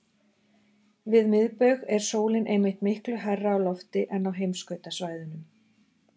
Við miðbaug er sólin einmitt miklu hærra á lofti en á heimskautasvæðunum.